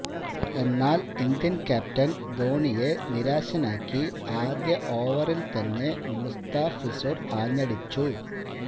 എന്നാൽ Indian captain ധോണിയെ നിരാശനാക്കി ആദ്യ ഓവറിൽ തന്നെ മുസ്താഫിസുർ ആഞ്ഞടിച്ചു